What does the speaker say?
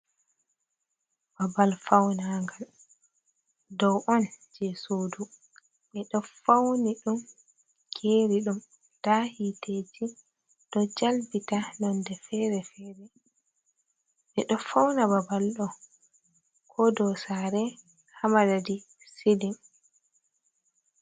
Babal faunagal dow on je sodu. Ɓeɗo fauni ɗum, geri ɗum, nda hiteji ɗo jalbita nonde fere-fere. Ɓeɗo fauna babal ɗo ko dow sare haa madadi silin.